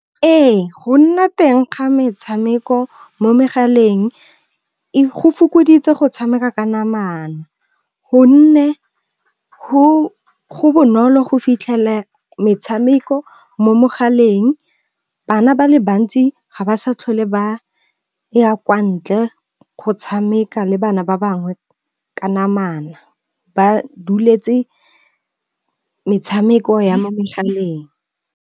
Ee, go nna teng ga metshameko mo megaleng go fokoditse go tshameka ka namana. Gonne go bonolo go fitlhela metshameko mo mogaleng. Bana ba le bantsi ga ba sa tlhole ba ya kwa ntle go tshameka le bana ba bangwe ka namana ba duletse metshameko ya mo megaleng.